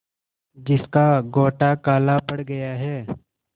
जिसका गोटा काला पड़ गया है